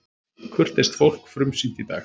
Kurteist fólk frumsýnt í dag